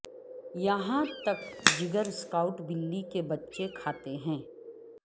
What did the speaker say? یہاں تک جگر سکاٹ بلی کے بچے کھاتے ہیں